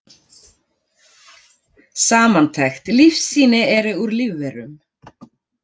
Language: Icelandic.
Samantekt: Lífsýni eru úr lífverum.